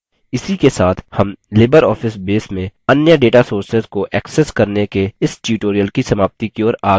इसी के साथ हम libreoffice base में अन्य data sources को एक्सेस करने के इस tutorial की समाप्ति की ओर आ गये हैं